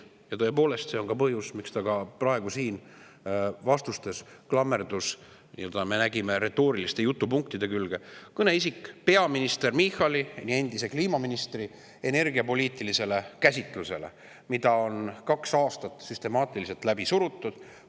Ja tõepoolest, see on ka põhjus, miks ta ka praegu siin vastustes klammerdub, nagu me nägime, retooriliste jutupunktide külge, olles kõneisik ja peaminister Michali, meie endise kliimaministri energiapoliitilisele käsitlusele, mida on kaks aastat süstemaatiliselt läbi surutud.